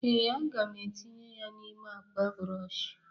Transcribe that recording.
ee, a ga m etinye ya n'ime akpa brọsh